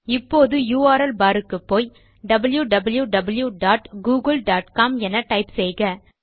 இப்போது URL bar க்குப்போய் wwwgooglecom என டைப் செய்க